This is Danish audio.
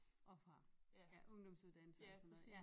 Og fra ja ungdomsuddannelser og sådan noget ja